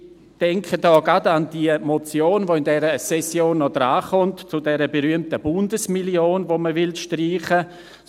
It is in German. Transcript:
Ich denke gerade an die Motionwelche in dieser Session noch an die Reihe kommt, zur berühmten Bundesmillion, die man streichen will .